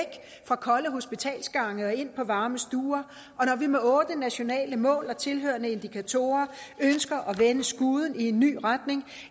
fra kolde hospitalsgange og ind på varme stuer og når vi med otte nationale mål og tilhørende indikatorer ønsker at vende skuden i en ny retning